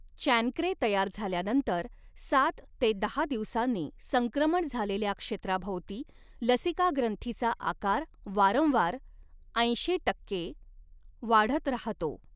Chancre तयार झाल्यानंतर सात ते दहा दिवसांनी, संक्रमण झालेल्या क्षेत्राभोवती लसिका ग्रंथीचा आकार वारंवार ऐंशी टक्के वाढत राहतो.